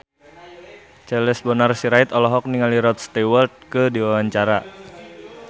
Charles Bonar Sirait olohok ningali Rod Stewart keur diwawancara